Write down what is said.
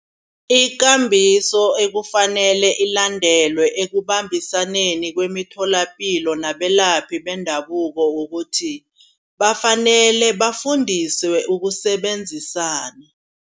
Ikambiso ekufanele ilandelwe ekubambisaneni kwemitholampilo nabelaphi bendabuko. Kukuthi bafanele bafundiswe ukusebenzisana.